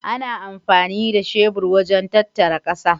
Ana amfani da shebur wajen tattara ƙasa.